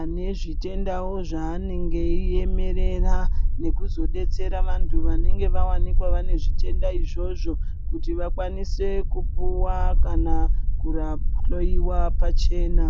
anezvitendawo zvaanenge veiemerera nekuzodetsera vantu vanenge vane zvitenda zvona izvozvo kuti vakwanise kupuwa kana kuhloyiwa pachena.